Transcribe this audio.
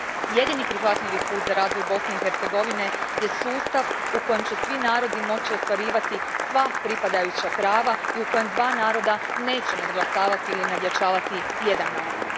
Jedini prihvatljivi put za razvoj Bosne i Hercegovine je sustav u kojem će svi narodi moći ostvarivati sva pripadajuća prava i u kojem dva naroda neće nadglasavati ili nadjačavati jedan narod.